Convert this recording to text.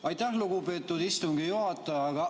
Aitäh, lugupeetud istungi juhataja!